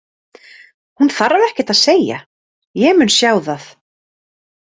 Hún þarf ekkert að segja, ég mun sjá það.